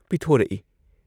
ꯄꯤꯊꯣꯔꯛꯏ ꯫